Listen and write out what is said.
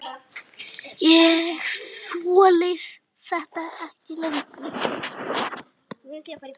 Ég þoli þetta ekki lengur.